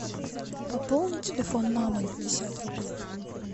пополни телефон мамы на пятьдесят рублей